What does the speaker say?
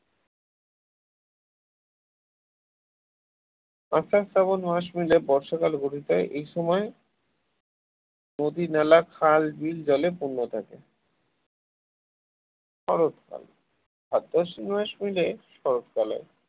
আষাঢ় শ্রাবণ মাস মিলে বর্ষাকাল হয় এই সময় নদী-নালা খাল বিল জলে পূর্ণ থাকে শরৎকাল ভাদ্র আশ্বিন মাস মিলে শরৎকাল হয়